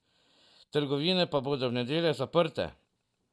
Trgovine pa bodo ob nedeljah zaprte.